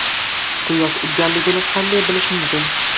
Quyosh urganligini qanday bilish mumkin?